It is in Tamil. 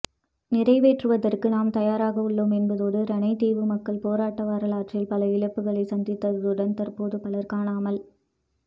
நிறைவேற்றுவதற்கு நாம் தயாராக உள்ளோம் என்பதோடு இரணைதீவு மக்கள் போராட்ட வரலாற்றில் பல இழப்புக்களை சந்தித்ததுடன் தற்போது பலர் காணமல்